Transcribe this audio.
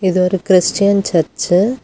இது ஒரு Christian church .